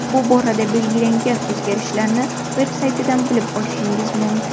Bu borada belgilangan o‘zgarishlarni veb-saytidan bilib olishingiz mumkin.